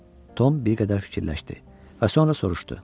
Tom bir qədər fikirləşdi və sonra soruşdu.